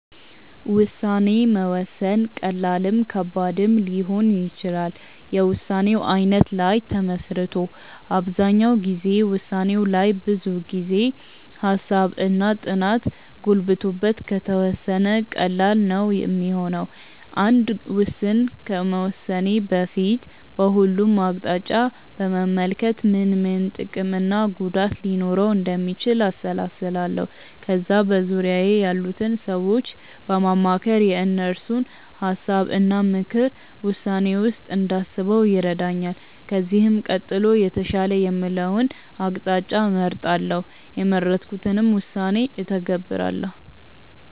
ውሳኔ መወሰን ቀላልም ከባድም ሊሆን ይችላል የውሳኔው አይነት ላይ ተመስርቶ። አብዛኛው ጊዜ ውሳኔው ላይ ብዙ ጊዜ፣ ሃሳብ እና ጥናት ገብቶበት ከተወሰነ ቀላል ነው ሚሆነው። አንድ ውስን ከመወሰኔ በፊት በሁሉም አቅጣጫ በመመልከት ምን ምን ጥቅም እና ጉዳት ሊኖረው እንደሚችል አሰላስላለው። ከዛ በዙርያዬ ያሉትን ሰዎች በማማከር የእነሱን ሀሳብ እና ምክርን ውሳኔዬ ውስጥ እንዳስበው ይረዳኛል። ከዚህም ቀጥሎ የተሻለ የምለውን አቅጣጫ እመርጣለው። የመረጥኩትንም ውሳኔ እተገብራለው።